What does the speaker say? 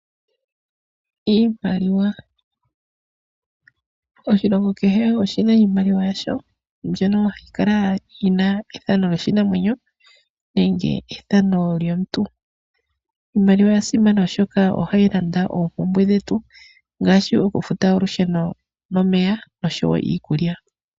Iimaliwa, oshilongo kehe oshina iimaliwa yasho. Mbyono hayi kala yina ethano lyoshinamwenyo nenge ethano lyoomuntu. Iimaliwa oya simana oshoka ohayi landa oompumbwe dhetu. Ngaashi oku futa olusheno nomeya oshowo iikulya.